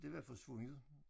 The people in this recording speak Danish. Det var forsvundet